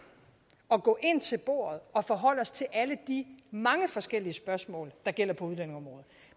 at gå ind til bordet og forholde os til alle de mange forskellige spørgsmål der gælder på udlændingeområdet